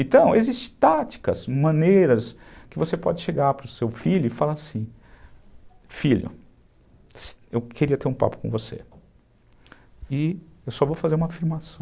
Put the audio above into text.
Então, existem táticas, maneiras que você pode chegar para o seu filho e falar assim, filho, eu queria ter um papo com você e eu só vou fazer uma afirmação.